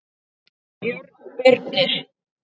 Björn Birnir.